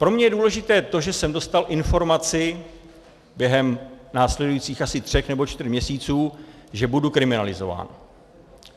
Pro mě je důležité to, že jsem dostal informaci během následujících asi tří nebo čtyř měsíců, že budu kriminalizován.